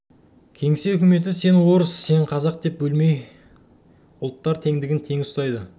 кеңсе үкіметі сен орыс сен қазақ деп бөлмей алаламай ұлттар тендігін тең ұстайды